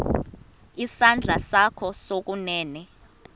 isandla sakho sokunene